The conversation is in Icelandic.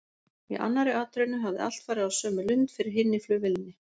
Í annarri atrennu hafði allt farið á sömu lund fyrir hinni flugvélinni.